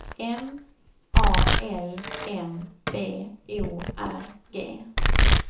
M A L M B O R G